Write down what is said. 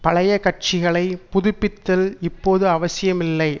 பழைய கட்சிகளை புதுப்பித்தல் இப்போது அவசியமில்லை